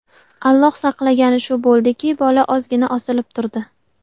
Alloh saqlagani shu bo‘ldiki, bola ozgina osilib turdi.